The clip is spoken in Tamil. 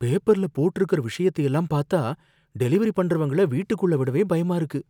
பேப்பர்ல போட்டிருக்கற விஷயத்தையெல்லாம் பாத்தா, டெலிவரி பண்றவங்கள வீட்டுக்குள்ள விடவே பயமா இருக்கு.